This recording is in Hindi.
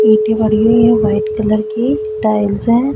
ईंटे लगी हुई है हुई है वाइट कलर की टाइल्स हैं।